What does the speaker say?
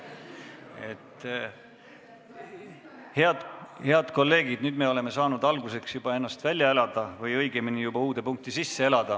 Head kolleegid, nüüd me oleme saanud alguseks ennast juba välja elada või õigemini uude punkti sisse elada.